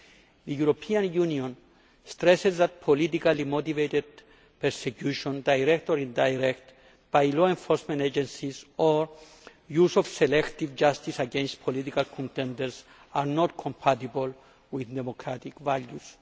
The European Union stresses that politically motivated persecution, direct or indirect, by law enforcement agencies or the use of selective justice against political contenders are not compatible with democratic values.